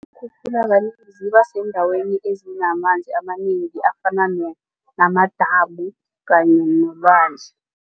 ziba sendaweni ezinamanzi amanengi afana namadamu kanye nolwandle.